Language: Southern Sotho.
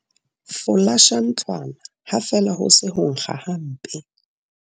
Folasha ntlwana ha feela ho se ho nkga hampe.